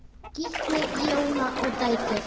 Gísli, Jóna og dætur.